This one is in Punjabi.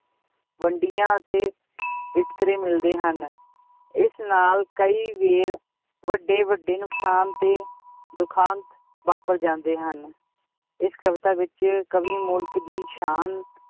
ਵੰਡੀਆਂ ਅਤੇ ਵਿਤਕਰੇ ਮਿਲਦੇ ਹਨ ਇਸ ਨਾਲ ਕਈ ਵਾਰ ਵੱਡੇ ਵੱਡੇ ਨੁਕਸਾਨ ਤੇ ਦੁਖਾਂਤ ਵਾਪਰ ਜਾਂਦੇ ਹਨ, ਇਸ ਕਵਿਤਾ ਵਿੱਚ ਕਵੀ ਮੁਲਕ ਦੀ ਸ਼ਾਨ